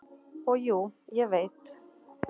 """Og jú, ég veit."""